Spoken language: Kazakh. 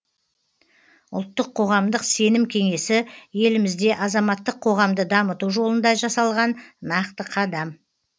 ұлттық қоғамдық сенім кеңесі елімізде азаматтық қоғамды дамыту жолында жасалған нақты қадам